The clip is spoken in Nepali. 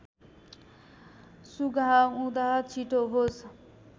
सुँघाउदा छिटो होस्